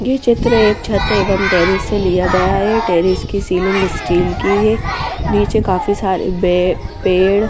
ये चित्र एक छत एवं टेरेस से लिया गया है टेरेस की सीलिंग स्टील की है नीचे काफी सारे बे पेड़--